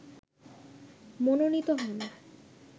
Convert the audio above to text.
মনোনীত হন